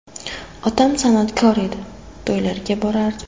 Otam san’atkor edi, to‘ylarga borardi.